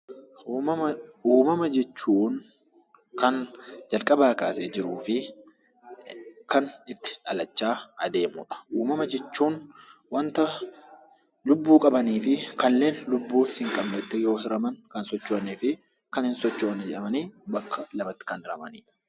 Uumama jechuun kan jalqabaa kaasee jiruufi kan itti guddachaa adeemudha. Uumama jechuun wanta lubbuu qabaniifi kanneen lubbuu hinqabnetti yemmuu hiraman, kan socho'aniifi kan hin sochoonee jedhamanii bakka lamatti kan hiramanidha.